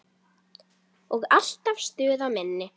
Og alltaf stuð á minni.